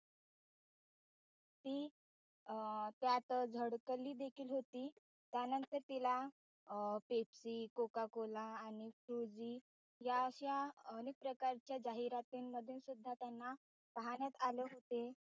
ती अं त्यात झडकली देखील होती त्यानन्तर तिला Pepsi Cocacola आणि फ्रुजी या अशा अनेक प्रकारच्या जाहिरातीमध्ये सुद्धा त्यानं पाहण्यात आले होते.